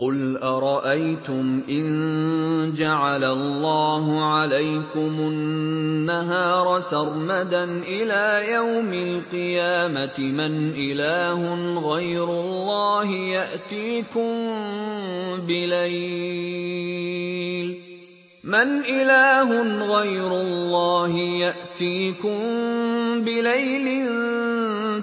قُلْ أَرَأَيْتُمْ إِن جَعَلَ اللَّهُ عَلَيْكُمُ النَّهَارَ سَرْمَدًا إِلَىٰ يَوْمِ الْقِيَامَةِ مَنْ إِلَٰهٌ غَيْرُ اللَّهِ يَأْتِيكُم بِلَيْلٍ